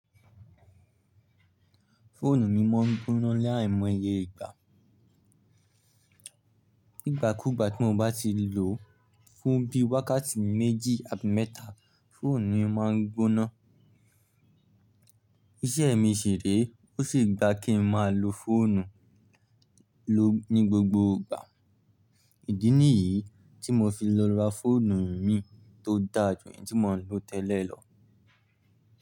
Fóònù mi máa ń gbóná láì mọye ìgbà. Ìgbàkúìgbà tí mo bá ti lò ó fún bí i wákàtí méjì àbí mẹ́ta, fóònù mi máa ń gbóná. Iṣẹ́ mi ṣi ré, ó sì gba kí n máa lo fóònù ló ní gbogbo ìgbà. Ìdí nìyí tí mo fi lọ ra fóònù mií tó dà jù eyi tí mo ń lò tẹ́lẹ̀ lọ.